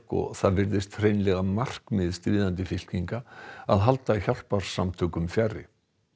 og það virðist hreinlega markmið stríðandi fylkinga að halda hjálparsamtökum fjarri